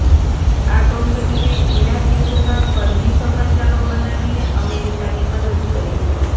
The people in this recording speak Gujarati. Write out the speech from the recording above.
આ કંપનીએ ઈરાક યુદ્ધમાં ફર્જી સમાચારો બનાવીને અમેરિકાની મદદ કરી